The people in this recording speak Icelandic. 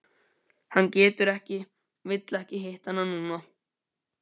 Hann getur ekki vill ekki hitta hana núna.